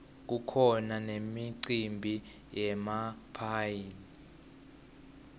kukhona nemicimbi yemaphayhi